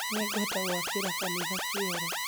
Nĩngwenda gwakĩra kanitha kĩoro